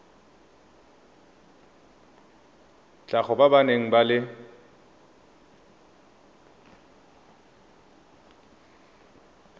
tlhago ba ba nang le